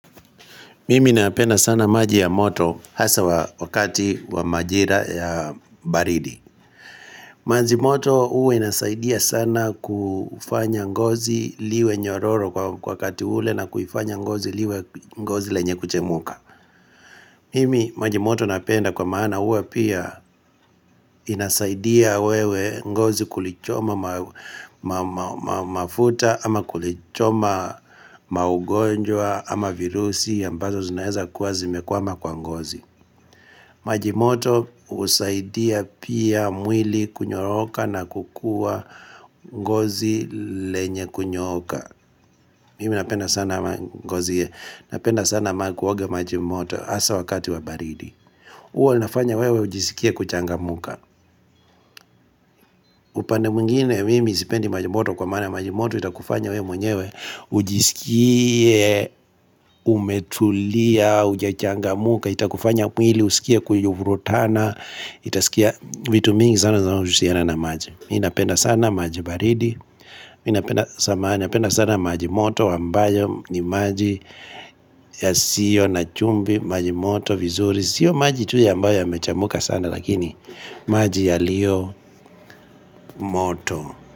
Mimi napenda sana maji ya moto hasa wakati wa majira ya baridi. Maji moto huwa inasaidia sana kufanya ngozi liwe nyororo wakati ule na kuifanya ngozi liwe ngozi lenye kuchemuka. Mimi maji moto napenda kwa maana huwa pia inasaidia wewe ngozi kulichoma mafuta ama kulichoma magonjwa ama virusi ambazo zinaweza kuwa zimekwama kwa ngozi. Majimoto husaidia pia mwili kunyoroka na kukuwa ngozi lenye kunyooka Mimi napenda sana kuoga maji moto hasa wakati wa baridi huwa inafanya wewe ujisikie kuchangamka upande mwingine mimi sipendi maji moto kwa maana maji moto itakufanya we mwenyewe ujisikie umetulia hujachangamka Itakufanya mwili usikie kuivurutana itasikia vitu mingi sana zinaohusiana na maji mi napenda sana maji baridi mi napenda sana maji moto ambayo ni maji yasiyo na chumvi maji moto vizuri sio maji tu ambayo yamechemuka sana lakini maji yaliyo moto.